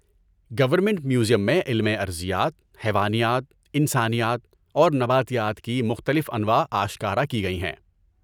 Government museum میں علم ارضیات، حیوانیات، انسانیات اور نباتیات کی مختلف انواع آشکارا کی گئی ہیں۔